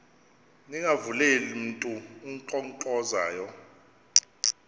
ningavuleli mntu unkqonkqozayo